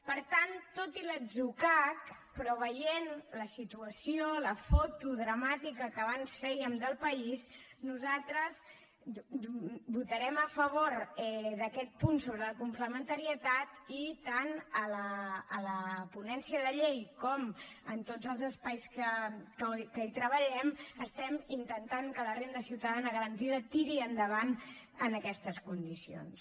per tant tot i l’atzucac però veient la situació la foto dramàtica que abans fèiem del país nosaltres votarem a favor d’aquest punt sobre la complementarietat i tant a la ponència de llei com en tots els espais que hi treballem estem intentant que la renda ciutadana garantida tiri endavant en aquestes condicions